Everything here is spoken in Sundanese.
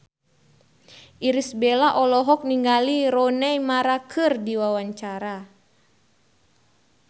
Irish Bella olohok ningali Rooney Mara keur diwawancara